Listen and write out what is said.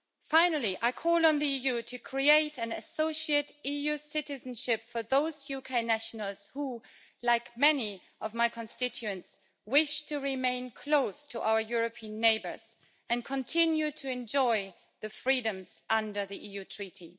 Finally, I call on the EU to create an associate EU citizenship for those UK nationals who, like many of my constituents, wish to remain close to our European neighbours and continue to enjoy the freedoms under the EU Treaty.